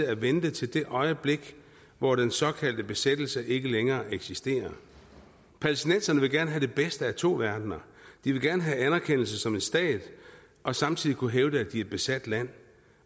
at vente til det øjeblik hvor den såkaldte besættelse ikke længere eksisterer palæstinenserne vil gerne have den bedste af to verdener de vil gerne have anerkendelse som en stat og samtidig kunne hævde at de er et besat land